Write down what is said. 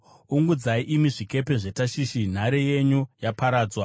Ungudzai, imi zvikepe zveTashishi; nhare yenyu yaparadzwa!